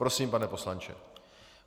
Prosím, pane poslanče.